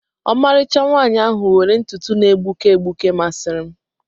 Ọmarịcha nwaanyị ahụ were ntutu na-egbuke egbuke masịrị m.